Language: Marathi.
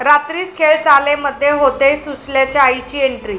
रात्रीस खेळ चाले'मध्ये होतेय सुशल्याच्या आईची एन्ट्री